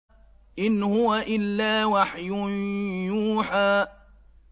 إِنْ هُوَ إِلَّا وَحْيٌ يُوحَىٰ